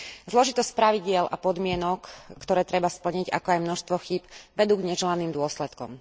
Zložitosť pravidiel a podmienok, ktoré treba splniť, ako aj množstvo chýb vedú k neželaným dôsledkom.